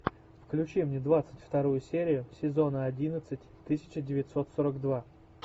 включи мне двадцать вторую серию сезона одиннадцать тысяча девятьсот сорок два